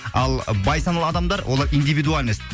ал бай саналы адамдар олар индивидуальность